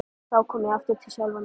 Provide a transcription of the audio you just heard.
Þá kom ég aftur til sjálfrar mín.